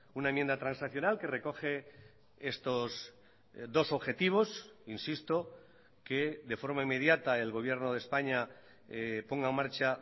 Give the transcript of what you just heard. una enmienda transaccional que recoge estos dos objetivos insisto que de forma inmediata el gobierno de españa ponga en marcha